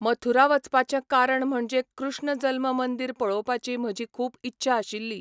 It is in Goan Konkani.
मथुरा वचपाचें कारण म्हणजे कृष्ण जल्म मंदीर पळोवपाची म्हजी खूब इच्छा आशिल्ली.